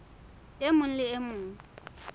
e mong le e mong